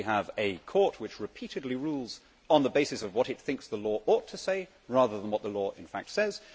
They would see we have a court which repeatedly rules on the basis of what it thinks the law ought to say, rather than what the law in fact says.